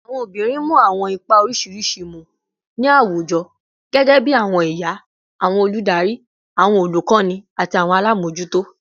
Awọn obinrin mu awọn ipa oriṣiriṣi mu ni awujọ, gẹgẹbi awọn iya, awọn oludari, awọn olukọni, ati awọn alamojuto